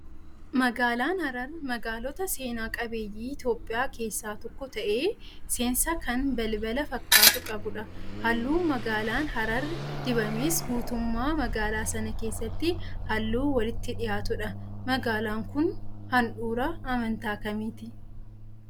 Magaalaan Harar magaalota seena qabeeyyii Itoophiyaa keessaa tokko ta'ee, seensa kan balbala fakkaatu qabudha. Halluun magaalaan harar dibames guutummaa magaalaa sanaa keessatti halluu walitti dhiyaatudha. Magaalaan kun handhuura amantaa kamiiti?